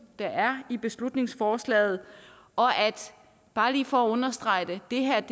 der er i beslutningsforslaget og bare lige for at understrege det det her